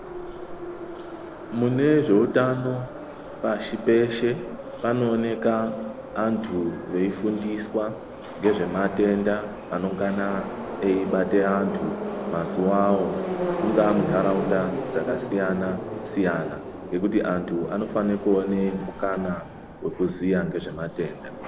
Mune zve utano pashi peshe pano oneka antu vei fundiswa ngezve matenda anongana eyi bate antu mazuvawo mungava mu ndaraunda dzaka siyana siyana nekuti antu anofane kuone mukana weku ziya ngezve matenda.